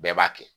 Bɛɛ b'a kɛ